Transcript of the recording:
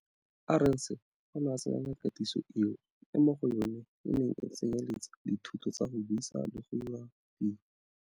Arendse o ne a tsenela katiso eo, e mo go yona e neng e tsenyeletsa dithuto tsa go buisa le go dira tiro.